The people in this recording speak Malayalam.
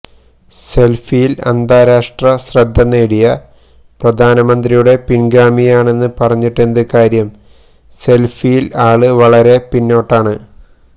സെല്ഫിയില് അന്താരാഷ്ട്ര ശ്രദ്ധനേടിയ പ്രധാനമന്ത്രിയുടെ പിന്ഗാമിയാണെന്ന് പറഞ്ഞിട്ടെന്ത് കാര്യം സെല്ഫിയില് ആള് വളരെ പിന്നോട്ടാണ്